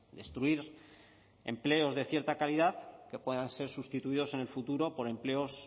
destruir empleos de cierta calidad que puedan ser sustituidos en el futuro por empleos